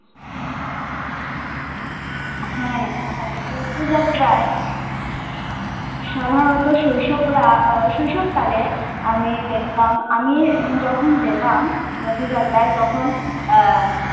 হ্যা রথযাত্রায় সাধারণত শৈশবরা শৈশব কালে আমি দেখতাম আমি যখন যেতাম রথযাত্রায় তখন আহ